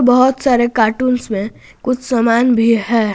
बहुत सारे कार्टूंस में कुछ सामान भी है।